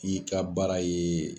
I ka baara ye